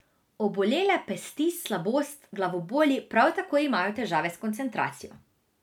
Obolele pesti slabost, glavoboli, prav tako imajo težave s koncentracijo.